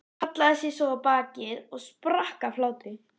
Hallaði sér svo á bakið og sprakk af hlátri.